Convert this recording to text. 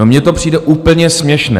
No, mně to přijde úplně směšné.